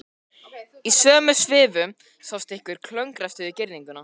Í sömu svifum sást einhver klöngrast yfir girðinguna.